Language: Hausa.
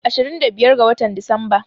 Ashirin da biyar ga watan Disamba.